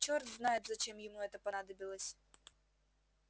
черт знает зачем ему это понадобилось